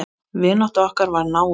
Vinátta okkar varð náin.